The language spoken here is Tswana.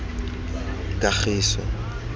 kagiso